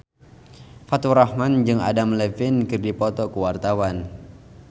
Faturrahman jeung Adam Levine keur dipoto ku wartawan